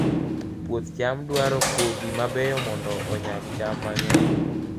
Puoth cham dwaro kodhi mabeyo mondo onyag cham mang'eny